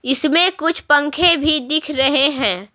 इसमें कुछ पंखे भी दिख रहे हैं।